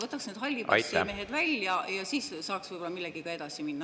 … võtaks need hallipassimehed sealt välja ja siis saaks võib-olla millegagi edasi minna.